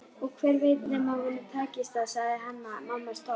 Og hver veit nema honum takist það, sagði Hanna-Mamma stolt.